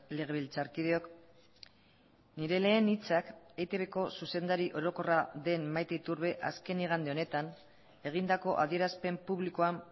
legebiltzarkideok nire lehen hitzak eitbko zuzendari orokorra den maite iturbe azken igande honetan egindako adierazpen publikoan